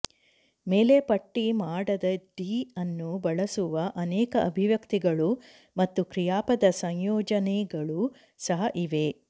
ಮೇಲೆ ಪಟ್ಟಿ ಮಾಡದ ಡಿ ಅನ್ನು ಬಳಸುವ ಅನೇಕ ಅಭಿವ್ಯಕ್ತಿಗಳು ಮತ್ತು ಕ್ರಿಯಾಪದ ಸಂಯೋಜನೆಗಳು ಸಹ ಇವೆ